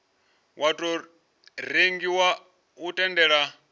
wa tou rengiwa u tendela